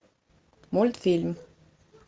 мультфильм